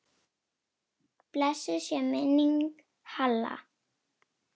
Blessuð sé minning Halla.